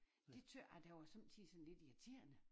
Det tøt jeg da var sommetider sådan lidt irriterende